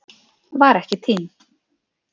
Var ekki týnd